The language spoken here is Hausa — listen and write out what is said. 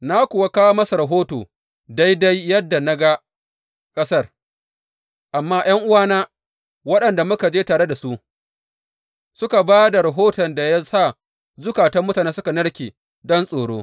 Na kuwa kawo masa rahoto daidai yadda na ga ƙasar, amma ’yan’uwana waɗanda muka je tare su suka ba da rahoton da ya sa zukatan mutane suka narke don tsoro.